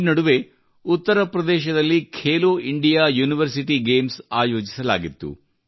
ಈ ನಡುವೆ ಉತ್ತರ ಪ್ರದೇಶದಲ್ಲಿ ಖೇಲೋ ಇಂಡಿಯಾ ಯೂನಿವರ್ಸಿಟಿ ಗೇಮ್ಸ್ ಆಯೋಜಿಸಲಾಗಿತ್ತು